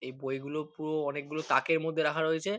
এই বইগুলো পুরো অনেকগুলো তাকের মধ্যে রাখা রয়েছে।